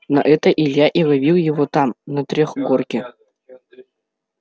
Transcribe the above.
на это илья и ловил его там на трехгорке